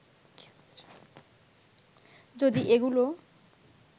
যদি এগুলো